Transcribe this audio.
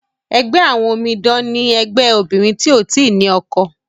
ègbé àwọn òmìdan ní ègbé àwọn obìrin tíó tí ní ọkọ.